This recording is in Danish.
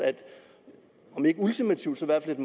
om ikke ultimativt så i hvert